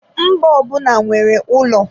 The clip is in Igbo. Mba ọbụna nwere ụlọ.